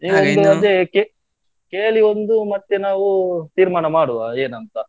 ಅದೇಕೆ ಕೇ~ ಕೇಳಿ ಒಂದು ಮತ್ತೆ ನಾವು ತೀರ್ಮಾನ ಮಾಡ್ವ ಏನಂತ?